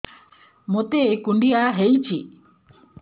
ମୋତେ କୁଣ୍ଡିଆ ହେଇଚି